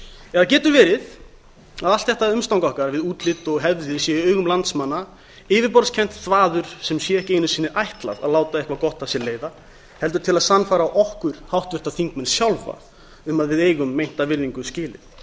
eða getur verið að allt þetta umstang okkar við útlit og hefðir sé í augum landsmanna yfirborðskennt þvaður sem sé ekki einu sinni ætlað að láta eitthvað gott af sér leiða heldur til að sannfæra okkur háttvirta þingmenn sjálfa um að við eigum meinta virðingu skilið